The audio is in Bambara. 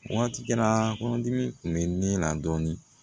Waati la kɔnɔdimi tun bɛ ne la dɔɔnin